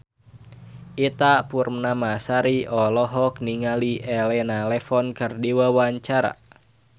Ita Purnamasari olohok ningali Elena Levon keur diwawancara